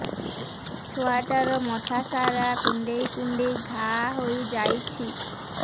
ଛୁଆଟାର ମଥା ସାରା କୁଂଡେଇ କୁଂଡେଇ ଘାଆ ହୋଇ ଯାଇଛି